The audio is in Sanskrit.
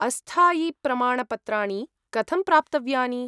अस्थायिप्रमाणपत्राणि कथं प्राप्तव्यानि?